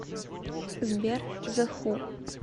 сбер зе ху